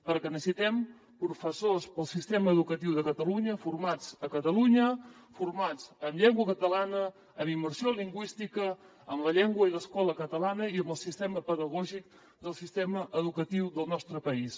perquè necessitem professors per al sistema educatiu de catalunya formats a catalunya formats en llengua catalana en immersió lingüística en la llengua i l’escola catalanes i amb el sistema pedagògic del sistema educatiu del nostre país